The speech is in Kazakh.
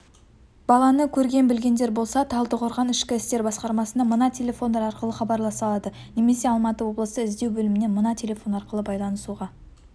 баланы көрген-білгендер болса талдықорған ішкі істер басқармасына мына телефондар арқылы хабарласа алады немесе алматы облысы іздеу бөлімімен мына телефон арқылы байланысуға